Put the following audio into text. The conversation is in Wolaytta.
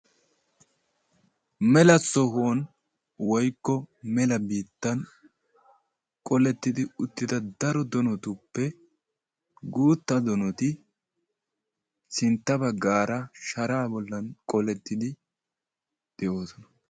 Mela sohuwaan woykko mela biittan qolettidi uttida daro donotuppe guuttaa donoti sintta baggaara sharaa bollan qolettidi de'oosona.